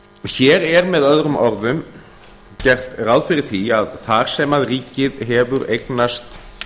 hér er með öðrum orðum gert ráð fyrir því að þar sem að ríkið hefur eignast